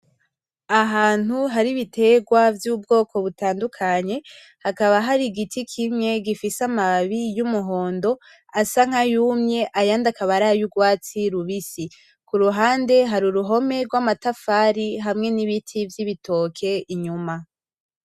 Ahantu hari ibiterwa vy'ubwoko butandukanye hakaba hari igiti kimwe gifise amababi y'umuhondo asa nkayumye ayandi akaba ari ay'urwatsi rubisi, kuruhande hari uruhome rw'amatafari hamwe n'ibiti vy'ibitoke inyuma.